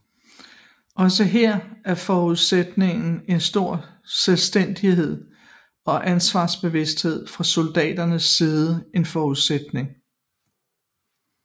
Også her er forudsætningen en stor selvstændighed og ansvarsbevidsthed fra soldaternes side en forudsætning